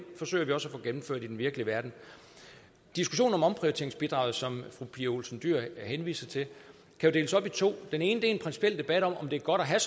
forsøger vi også at få gennemført i den virkelige verden diskussionen om omprioriteringsbidraget som fru pia olsen dyhr henviser til kan deles op i to den ene er en principiel debat om om det er godt at have